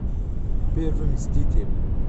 первый мститель